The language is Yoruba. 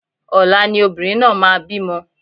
Ọ̀la ni obìnrin náà máa bí mo